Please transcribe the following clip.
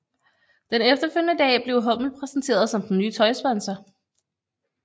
Den efterfølgende dag blev hummel præsenteret som den nye tøjsponsor